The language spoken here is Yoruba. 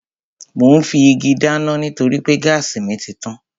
Mò ún fi igi dáná nítorí pé gáàsì mi títàn